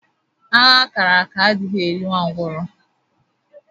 Agha a kàrà áká adighị eri nwa ngwurọ